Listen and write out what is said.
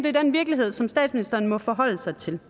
er den virkelighed som statsministeren må forholde sig til